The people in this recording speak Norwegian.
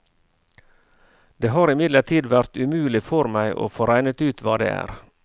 Det har imidlertid vært umulig for meg å få regnet ut hva det er.